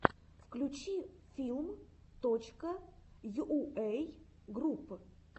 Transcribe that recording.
включи филм точка йуэй групп